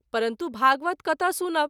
परन्तु भागवत कतय सुनब।